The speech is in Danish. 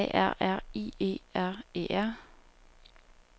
B A R R I E R E R